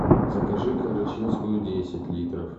закажи карачинскую десять литров